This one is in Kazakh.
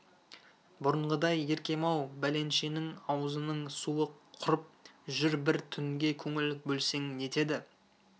бұрынғыдай еркем-ау бәленшенің аузының суы құрып жүр бір түнге көңіл бөлсең нетеді